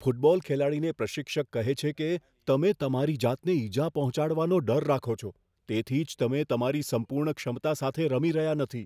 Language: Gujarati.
ફૂટબોલ ખેલાડીને પ્રશિક્ષક કહે છે કે, તમે તમારી જાતને ઇજા પહોંચવાનો ડર રાખો છો, તેથી જ તમે તમારી સંપૂર્ણ ક્ષમતા સાથે રમી રહ્યાં નથી.